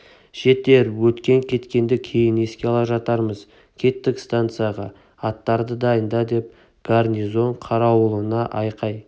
жетер өткен-кеткенді кейін еске ала жатармыз кеттік станцияға аттарды дайында деп гарнизон қарауылына айқай